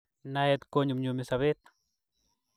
Naet konyumyumi sobet